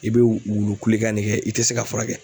I bɛ wulu kulekan ne kɛ i tɛ se ka furakɛ.